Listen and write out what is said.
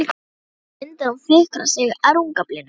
Snýr sér undan og fikrar sig að rúmgaflinum.